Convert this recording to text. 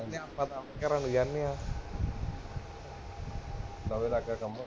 ਲਵੇ ਲਗ ਗਿਆ ਕੰਮ